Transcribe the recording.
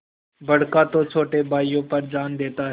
बड़का तो छोटे भाइयों पर जान देता हैं